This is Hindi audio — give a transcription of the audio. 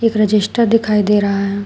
एक रजिस्टर दिखाई दे रहा है।